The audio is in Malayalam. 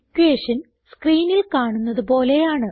ഇക്വേഷൻ സ്ക്രീനിൽ കാണുന്നത് പോലെയാണ്